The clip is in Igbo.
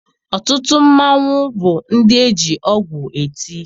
Ọtụtụ mmanwụ bụ ndị eji ọgwụ eti.